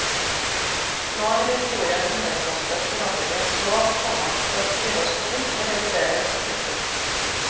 Nå er historien underkastet forandringens lov, komma den skrives på nytt og revideres. punktum